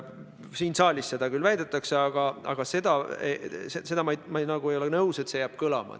Siin saalis seda küll väidetakse, aga ma ei ole nõus, et see jääb kõlama.